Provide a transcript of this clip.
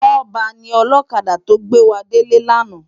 Toba ni òlòkádá tó gbéwádélé làná